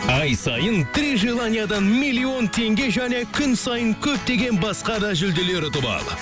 ай сайын три желаниядан миллион теңге және күн сайын көптеген басқа да жүлделер ұтып ал